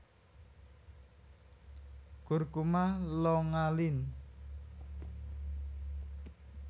Curcuma longa Linn